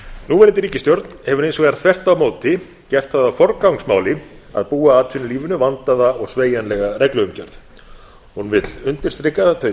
núverandi ríkisstjórn hefur hins vegar þvert á móti gert það að forgangsmáli að búa atvinnulífinu vandaða og sveigjanlega regluumgjörð hún vill undirstrika þau